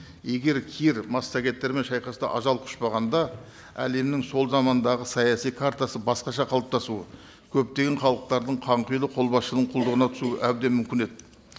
егер кир массагеттермен шайқаста ажал құшпағанда әлемнің сол замандағы саяси картасы басқаша қалыптасуы көптеген халықтардың қанқұйлы қолбасшының құлдығына түсуі әбден мүмкін еді